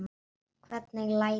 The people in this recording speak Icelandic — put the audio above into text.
Hvernig læt ég.